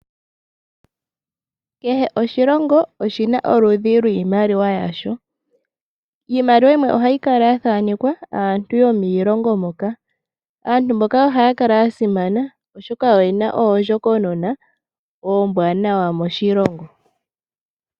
Kehe oshilongo oshina oludhi lwiimaliwa yasho. Iimaliwa yimwe ohayi kala ya thanekwa aantu yomilongo moka, aantu mboka ohaya kala ya simana oshoka oyena oondjokonona oombwanawa moshilongo.